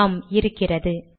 ஆம் இருக்கிறது